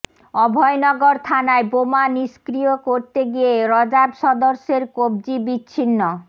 অভয়নগর থানায় বোমা নিষ্ক্রিয় করতে গিয়ে র্যাব সদস্যের কব্জি বিচ্ছিন্ন